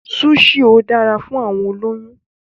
Súṣì ò dára fún àwọn olóyún.